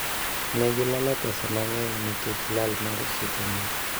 Ne gilalo pesa mang'eny nikech lal mar sitima.